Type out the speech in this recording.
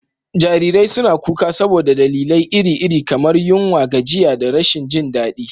Jarirai suna kuka saboda dalilai iri-iri, kamar yunwa, gajiya, da rashin jin daɗi.